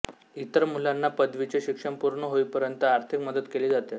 इतर मुलांना पदवीचे शिक्षण पूर्ण होईपर्यंत आर्थिक मदत केली जाते